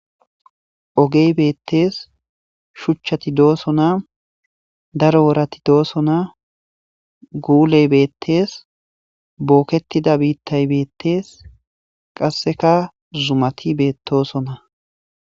Ogey beettees, shuchchati doosona. Daro worati doosona, guuley beettees, booketida biittay beettees, qasseka zumati beettoosona.